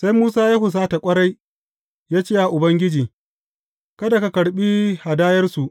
Sai Musa ya husata ƙwarai, ya ce wa Ubangiji, Kada ka karɓi hadayarsu.